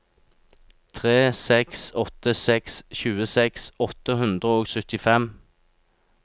tre seks åtte seks tjueseks åtte hundre og syttifem